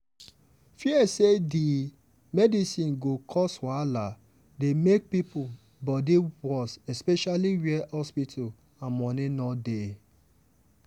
fear say di medicine go cause wahala dey make people body worse especially where hospital and money no dey.